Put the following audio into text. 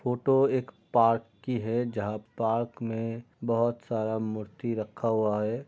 Photo एक park की है जहाँ पार्क मे बहुत सारा मूर्ति रखा हुआ है।